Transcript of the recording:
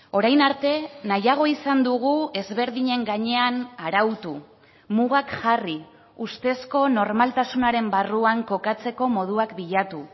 orain arte nahiago izan dugu ezberdinen gainean arautu mugak jarri ustezko normaltasunaren barruan kokatzeko moduak bilatu